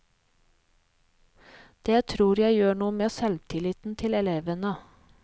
Det tror jeg gjør noe med selvtilliten til elevene.